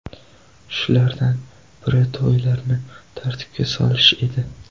Shulardan biri to‘ylarni tartibga solish edi.